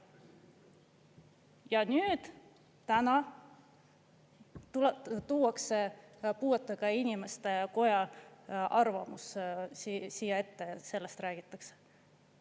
Ja nüüd, täna tuuakse puuetega inimeste koja arvamus siia ette, sellest räägitakse.